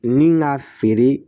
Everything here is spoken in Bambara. Ni ka feere